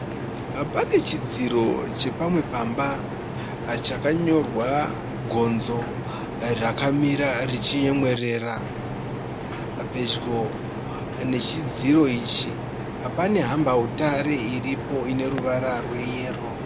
Panechidziro chepamwe pamba chakanyorwa gonzo rakamira richinyemwerera. Pedyo nechidziro ichi panehambautare iripo ineruvara rweyero.